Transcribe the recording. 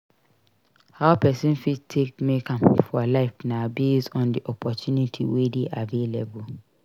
How person fit take make am for life na based on di opportunity wey dey available